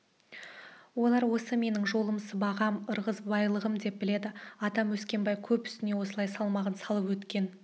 олар осы менің жолым сыбағам ырғызбайлығым деп біледі атам өскенбай көп үстіне осылай салмағын салып өткен